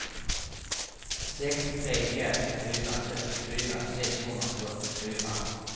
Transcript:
sex tre ett fyra trettiofyra sexhundrafyrtiofyra